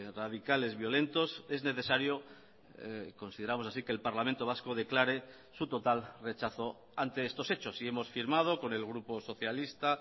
radicales violentos es necesario consideramos así que el parlamento vasco declare su total rechazo ante estos hechos y hemos firmado con el grupo socialista